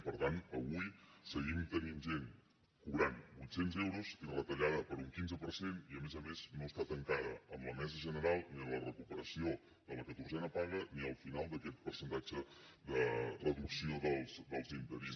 per tant avui seguim tenint gent que cobra vuit cents euros i retallada per un quinze per cent i a més a més no està tancada amb la mesa general ni la recuperació de la catorzena paga ni el final d’aquest percentatge de reducció dels interins